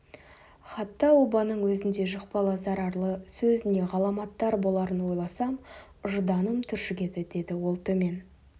хатта обаның өзіндей жұқпалы зарарлы сөз не ғаламаттар боларын ойласам ұжданым түршігеді деді ол төмен